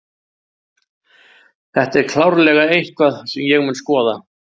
Þetta er klárlega eitthvað sem ég mun skoða.